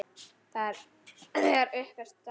Þegar upp er staðið?